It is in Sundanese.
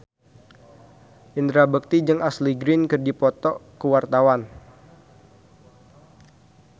Indra Bekti jeung Ashley Greene keur dipoto ku wartawan